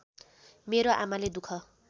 मेरो आमाले दुख